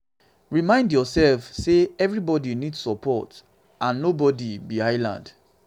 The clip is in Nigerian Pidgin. remind yourself sey sey everybody need support and nobody be island